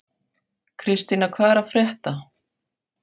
Kristína, hvað er að frétta?